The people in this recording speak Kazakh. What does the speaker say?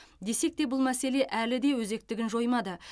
десекте бұл мәселе әлі де өзектігін жоймады